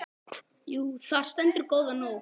Jú, þar stendur góða nótt.